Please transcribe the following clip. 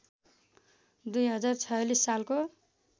२०४६ सालको